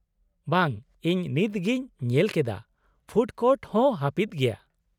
- ᱵᱟᱝ, ᱤᱧ ᱱᱤᱛ ᱜᱤᱧ ᱧᱮᱞ ᱠᱮᱫᱟ, ᱯᱷᱩᱰ ᱠᱳᱨᱴ ᱦᱚᱸ ᱦᱟᱹᱯᱤᱫ ᱜᱮᱭᱟ ᱾